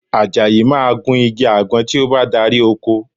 Àjàyí máa gun igi àgbọn tí ó bá dárí oko